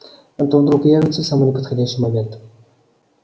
а то вдруг явятся в самый неподходящий момент